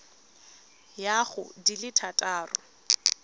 ya go di le thataro